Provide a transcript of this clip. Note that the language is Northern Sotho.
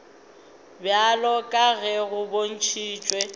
bjalo ka ge go bontšhitšwe